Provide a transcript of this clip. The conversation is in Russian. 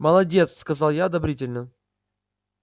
молодец сказал я одобрительно